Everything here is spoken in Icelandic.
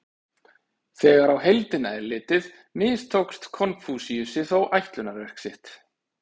Þegar á heildina er litið mistókst Konfúsíusi þó ætlunarverk sitt.